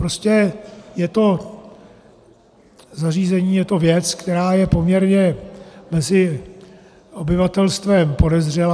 Prostě je to zařízení, je to věc, která je poměrně mezi obyvatelstvem podezřelá.